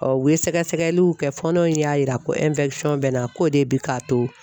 u ye sɛgɛsɛgɛliw kɛ, fɔɔnɔ in y'a jira ko bɛ na k'o de bi k'a to